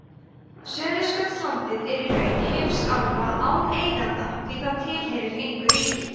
suðurskautslandið er í raun heimsálfa án eiganda því það tilheyrir engu ríki